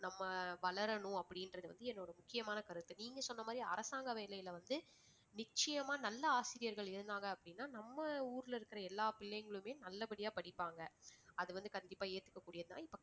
நம்ம வளரணும் அப்படின்றது வந்து என்னுடைய முக்கியமான கருத்து. நீங்க சொன்னமாதிரி அரசாங்க வேலையில வந்து நிச்சயமா நல்ல ஆசிரியர்கள் இருந்தாங்க அப்படின்னா நம்ம ஊர்ல இருக்கிற எல்லா பிள்ளைங்களுமே நல்லபடியா படிப்பாங்க. அது வந்து கண்டிப்பா ஏத்துக்கக்கூடியதுதான்